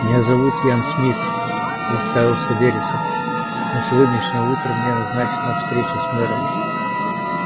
меня зовут ян смит представился вересов на сегодняшнее утро мне назначена встреча с мэром